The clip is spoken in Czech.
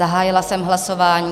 Zahájila jsem hlasování.